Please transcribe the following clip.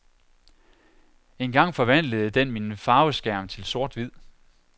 En gang forvandlede den min farveskærm til sorthvid.